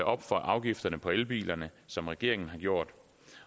op for afgifterne på elbiler som regeringen har gjort